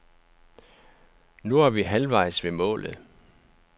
Nu er vi halvvejs ved målet.